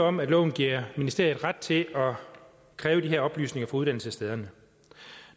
om at loven giver ministeriet ret til at kræve de her oplysninger af uddannelsesstederne